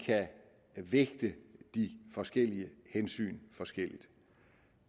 kan vægte de forskellige hensyn forskelligt